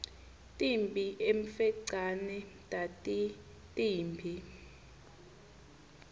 timphi emfecane tatitimbi